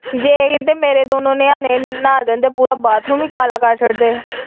ਜੇ ਕੀਤੇ ਮੇਰੇ ਦੋਨੋ ਨਿਆਣੇ ਨਹਾ ਲੈਣ ਪੂਰਾ ਬਾਥਰੂਮ ਈ ਕਾਲਾ ਕਰ ਛੱਡਦੇ ਆ।